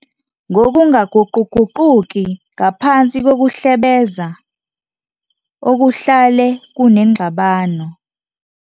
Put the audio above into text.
ngokungaguquguquki ngaphansi kokuhlebeza, okuhlale kunengxabano.